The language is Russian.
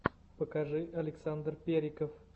покажи александр периков